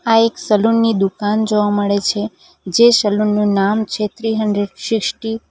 આ એક સલૂન ની દુકાન જોવા મળે છે જે સલૂન નું નામ છે થ્રી હુન્ડ્રેડ સિસ્ટી .